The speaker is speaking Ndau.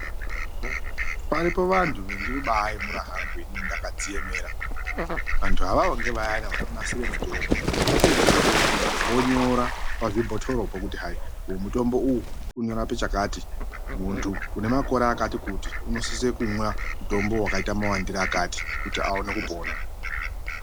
Paripo vantu vendinoba yemura hanku ini ndakaDziemera antu avavo ngevayana vanonasire mutombo vapedzepo vonyora pazvbhotorpo kuti hai uyu mutombo uyu unorapa chakati muntu une makore akati kuti unosisa kumwa mutombo wakaita mawandire akati kuti aone kupona.